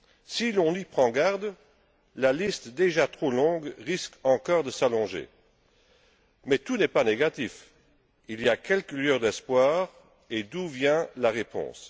Si l'on n'y prend garde, cette liste déjà trop longue risque encore de s'allonger. Mais tout n'est pas négatif il y a quelques lueurs d'espoir. D'où viendra la réponse?